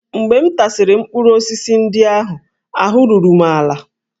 Mgbe m tasịrị mkpụrụ osisi ndị ahụ, ahụ́ ruru m ala